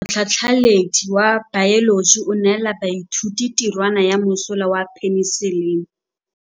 Motlhatlhaledi wa baeloji o neela baithuti tirwana ya mosola wa peniselene.